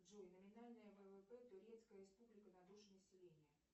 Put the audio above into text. джой номинальное ввп турецкая республика на душу населения